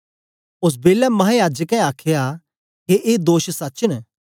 ओस बेलै महायाजकें आखया के ए दोष सच न